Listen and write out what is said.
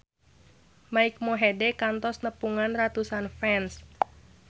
Mike Mohede kantos nepungan ratusan fans